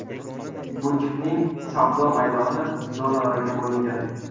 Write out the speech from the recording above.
Butikning savdo maydoni zonalarga bo‘lingan.